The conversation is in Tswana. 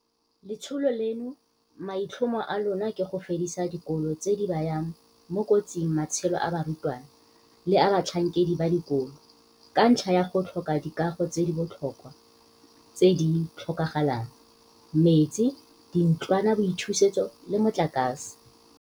Letsholo leno maitlhomo a lona ke go fedisa dikolo tse di bayang mo kotsing matshelo a barutwana le a batlhankedi ba dikolo, ka ntlha ya go tlhoka dikago tse di botlhokwa tse di tlhokagalang, metsi, dintlwanaboithusetso le motlakase.